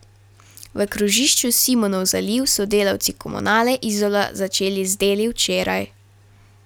V krožišču Simonov zaliv so delavci Komunale Izola začeli z deli včeraj.